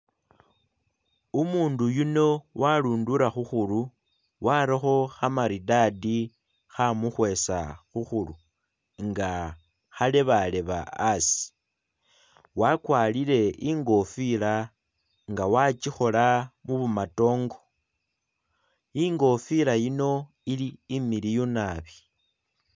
Umundu yuno warundura khukhuru, warakho khamaridadi khamukhwesa khukhuru nga khalebaleba asi. Wakwarire i'ngofila nga wakikhola mubumatongo, i'ngofila yino ili imiliyu nabi.